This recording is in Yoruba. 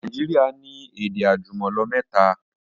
Naijiria ni èdè àjùmọ̀lò mẹ́ta